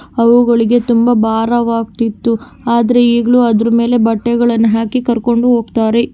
ಅವುಗಳಿಗೆ ತುಂಬಾ ಭಾರವಾಗಿತಿತ್ತು ಆದರೆ ಈಗಲೂ ಅದರ ಮೇಲೆ ಬಟ್ಟೆಗಳನ್ನು ಹಾಕಿ ಕರಕೊಂಡು ಹೋಗ್ತಾರೆ.